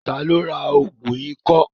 Ta ló ra ògùn ikọ́?